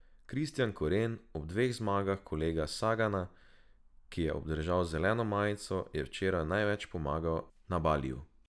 Kristijan Koren, ob dveh zmagah kolega Sagana, ki je obdržal zeleno majico, je včeraj največ pomagal Nibaliju.